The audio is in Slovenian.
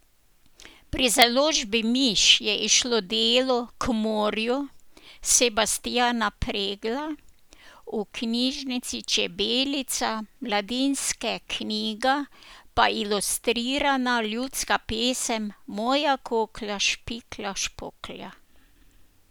Pri založbi Miš je izšlo delo K morju Sebastijana Preglja, v knjižnici Čebelica Mladinske knjiga pa ilustrirana ljudska pesem Moja koklja špiklja špoklja.